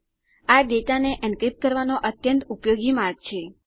આ ડેટાને એન્ક્રિપ્ટ કરવાનો અત્યંત ઉપયોગી માર્ગ છે